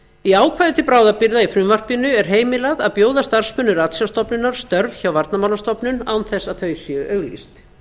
í ákvæði til bráðabirgða í frumvarpinu er heimilað að bjóða starfsmönnum ratsjárstofnunar störf hjá varnarmálastofnun án þess að þau séu auglýst